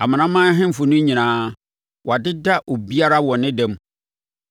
Amanaman ahemfo no nyinaa, wɔadeda obiara wɔ ne da mu.